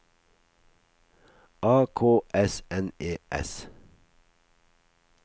A K S N E S